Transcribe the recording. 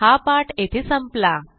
हा पाठ येथे संपला